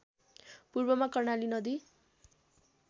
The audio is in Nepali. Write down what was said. पूर्वमा कर्णाली नदी